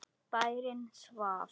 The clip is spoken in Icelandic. Bærinn svaf.